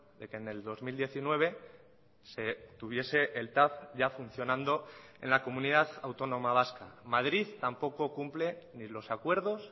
de que en el dos mil diecinueve se tuviese el tav ya funcionando en la comunidad autónoma vasca madrid tampoco cumple ni los acuerdos